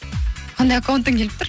қандай аккаунттан келіп тұр